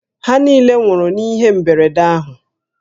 Ha niile nwụrụ n'ihe mberede ahụ